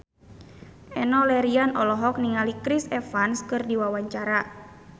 Enno Lerian olohok ningali Chris Evans keur diwawancara